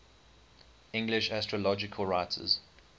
english astrological writers